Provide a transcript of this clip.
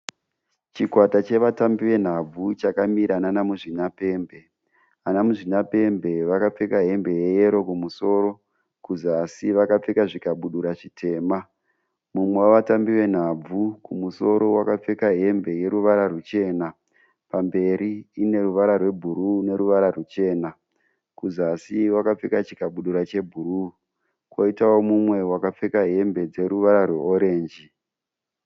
Chikwata chevatambi venhabvu chakamira nana muzvinapembe. Ana muzvinapembe vakapfeka hembe yeyero kumusoro kuzasi vakapfeka zvikabudura zvitema. Mumwe wevatambi venhabvu kumusoro wakapfeka hembe yeruvara ruchena pamberi ine ruvara rwebhuruu neruvara ruchena. Kuzasi wakapfeka chikabudura chebhuruu kwoitawo mumwe akapfeka hembe dzeruvara rweorenji.